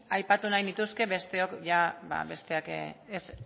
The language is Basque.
aipatu nahi nituzke besteok ba besteak